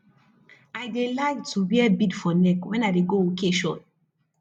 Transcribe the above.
i dey like to wear bead for neck when i dey go occasion